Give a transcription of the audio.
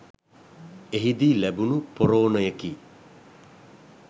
එහිදී ලැබුණු පොරෝණයකි